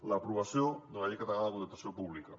l’aprovació d’una llei catalana de contractació pública